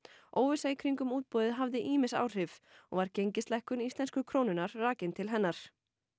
óvissa í kringum úboðið hafði ýmis áhrif og var gengislækkun íslensku krónunnar rakin til hennar